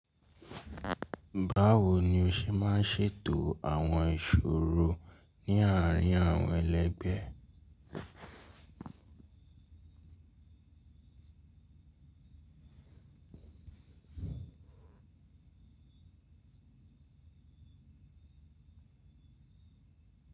Báwo ni o ṣe máa ń ṣètò àwọn ìṣòro ní àárín àwọn ẹlẹgbẹ́?